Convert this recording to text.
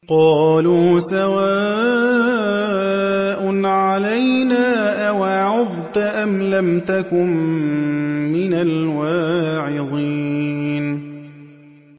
قَالُوا سَوَاءٌ عَلَيْنَا أَوَعَظْتَ أَمْ لَمْ تَكُن مِّنَ الْوَاعِظِينَ